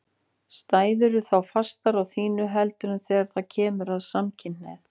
Stæðirðu þá fastar á þínu heldur en þegar það kemur að samkynhneigðum?